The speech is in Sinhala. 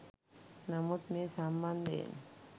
නමුත් මේ සම්බන්ධයෙන්